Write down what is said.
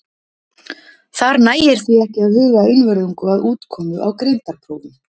Þar nægir því ekki að huga einvörðungu að útkomu á greindarprófum.